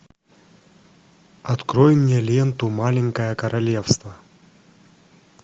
открой мне ленту маленькое королевство